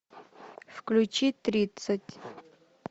включи тридцать